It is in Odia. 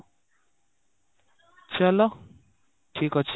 ଚାଲ ଠିକ ଅଛି